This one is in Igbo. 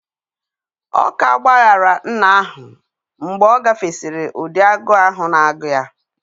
Ọ ka gbaghaara nna ahụ mgbe ọ gafesịrị ụdị agụụ ahụ na agụụ ya;